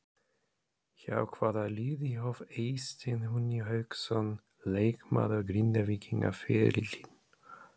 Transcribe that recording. Hjá hvaða liði hóf Eysteinn Húni Hauksson leikmaður Grindvíkinga ferilinn?